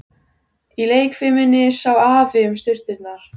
Í leikfiminni sá Afi um sturturnar.